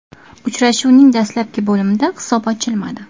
Uchrashuvning dastlabki bo‘limda hisob ochilmadi.